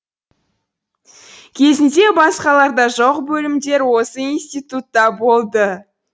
кезінде басқаларда жоқ бөлімдер осы институтта болды